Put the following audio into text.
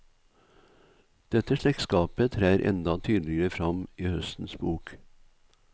Dette slektskapet trer enda tydeligere fram i høstens bok.